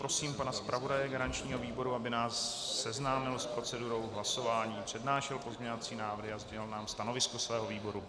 Prosím pana zpravodaje garančního výboru, aby nás seznámil s procedurou hlasování, přednášel pozměňovací návrhy a sdělil nám stanovisko svého výboru.